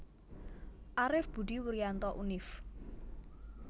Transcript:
Arif Budi Wurianto Univ